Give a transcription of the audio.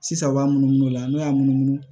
Sisan u b'a munumunu o la n'o y'a munumunu